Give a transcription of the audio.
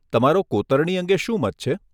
તમારો કોતરણી અંગે શું મત છે?